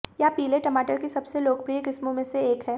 यह पीले टमाटर की सबसे लोकप्रिय किस्मों में से एक है